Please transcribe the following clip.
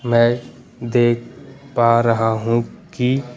मैं देख पा रहा हूं कि--